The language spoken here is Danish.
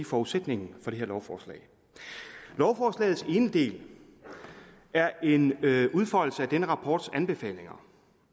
forudsætningen for det her lovforslag lovforslagets ene del er en udfoldelse af denne rapports anbefalinger